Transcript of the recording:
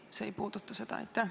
Või see ei puuduta seda?